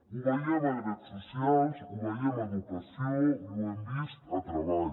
ho veiem a drets socials o veiem a educació i ho hem vist a treball